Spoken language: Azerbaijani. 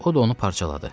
O da onu parçaladı.